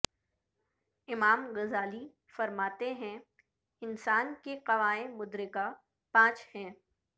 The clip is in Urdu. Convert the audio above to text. امام غزالی فرماتے ہیں انسان کے قوائے مدرکہ پانچ ہیں